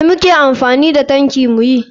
Me muke amfani da tanki muyi?